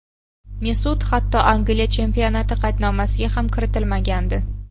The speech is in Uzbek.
Mesut hatto Angliya chempionati qaydnomasiga ham kiritilmagandi.